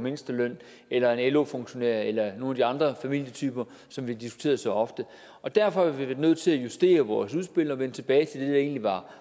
mindsteløn eller en lo funktionær eller nogen af de andre familietyper som vi har diskuteret så ofte derfor har vi været nødt til at justere vores udspil og vende tilbage til det der egentlig var